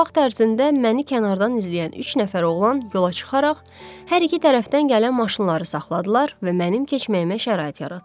Bu vaxt ərzində məni kənardan izləyən üç nəfər oğlan yola çıxaraq hər iki tərəfdən gələn maşınları saxladılar və mənim keçməyimə şərait yaratdılar.